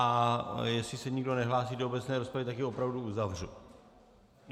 A jestli se nikdo nehlásí do obecné rozpravy, tak ji opravdu uzavřu.